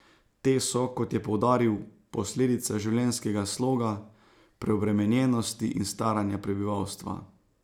Te so, kot je poudaril, posledica življenjskega sloga, preobremenjenosti in staranja prebivalstva.